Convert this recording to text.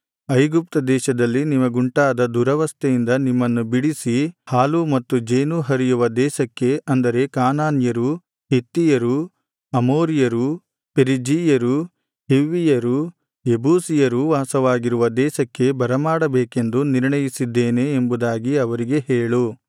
ಐಗುಪ್ತ ದೇಶದಲ್ಲಿ ನಿಮಗುಂಟಾದ ದುರವಸ್ಥೆಯಿಂದ ನಿಮ್ಮನ್ನು ಬಿಡಿಸಿ ಹಾಲೂ ಮತ್ತು ಜೇನೂ ಹರಿಯುವ ದೇಶಕ್ಕೆ ಅಂದರೆ ಕಾನಾನ್ಯರೂ ಹಿತ್ತಿಯರೂ ಅಮೋರಿಯರೂ ಪೆರಿಜೀಯರೂ ಹಿವ್ವಿಯರೂ ಯೆಬೂಸಿಯರೂ ವಾಸವಾಗಿರುವ ದೇಶಕ್ಕೆ ಬರಮಾಡಬೇಕೆಂದು ನಿರ್ಣಯಿಸಿದ್ದೇನೆ ಎಂಬುದಾಗಿ ಅವರಿಗೆ ಹೇಳು